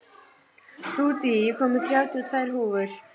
Ruth, ég kom með þrjátíu og tvær húfur!